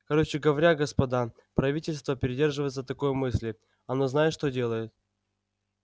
короче говоря господа правительство придерживается такой мысли оно знает что делает